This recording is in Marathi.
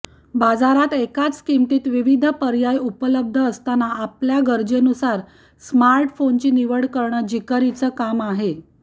बाजारात एकाच किमतीत विविध पर्याय उपलब्ध असताना आपल्या गरजेनुसार स्मार्टफोन्सची निवड करणं जिकिरीचं काम आहे